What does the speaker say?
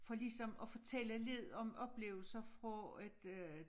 For ligesom at fortælle lidt om oplevelser fra et øh